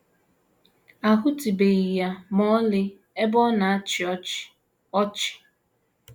“ A HỤTỤBEGHỊ ya ma ọlị ebe ọ na - achị ọchị. ” ọchị. ”